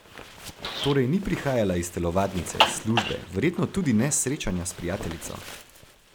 Torej ni prihajala iz telovadnice, službe, verjetno tudi ne s srečanja s prijateljico.